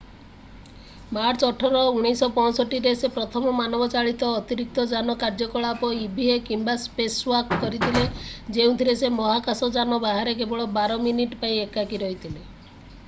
March 18 1965ରେ ସେ ପ୍ରଥମ ମାନବଚାଳିତ ଅତିରିକ୍ତଯାନ କାର୍ଯ୍ୟକଳାପ ଇଭିଏ କିମ୍ବା ସ୍ପେସୱାକ୍ କରିଥିଲେ ଯେଉଁଥିରେ ସେ ମହାକାଶଯାନ ବାହାରେ କେବଳ ବାର ମିନିଟ୍ ପାଇଁ ଏକାକୀ ରହିଥିଲେ ।